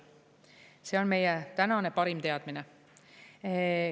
See on meie tänane parim teadmine.